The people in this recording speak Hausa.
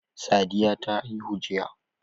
Sadiya ta haihu jiya.